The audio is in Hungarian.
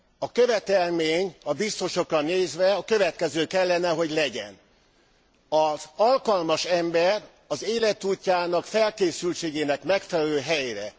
A követelmény a biztosokra nézve a következő kellene hogy legyen az alkalmas ember az életútjának, felkészültségének megfelelő helyre.